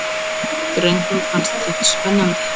Drengnum fannst þetta spennandi.